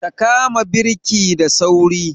Ka kama birki da sauri!